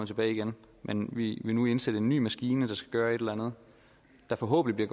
tilbage igen men vi vil nu indsætte ny en maskine der skal gøre et eller andet der forhåbentlig